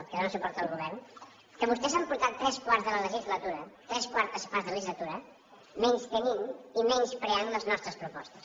que donen suport al govern que vostès han portat tres quarts de la legislatura tres quartes parts de legislatura menystenint i menyspreant les nostres propostes